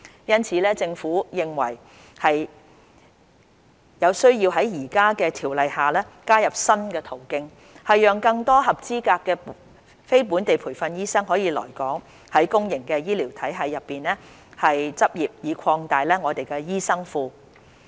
因此，政府認為有需要在現有的《條例》下，加入新途徑，讓更多合資格的非本地培訓醫生可以來港在公營醫療體系內執業，以擴大我們的醫生庫。